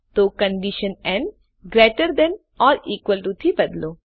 તો condition n greater than or equal to થી બદલો